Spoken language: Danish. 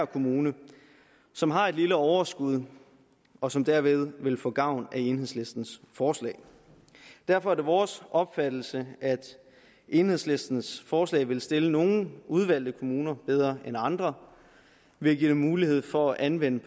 kommune som har et lille overskud og som derved vil få gavn af enhedslistens forslag derfor er det vores opfattelse at enhedslistens forslag vil stille nogle udvalgte kommuner bedre end andre ved at give dem mulighed for at anvende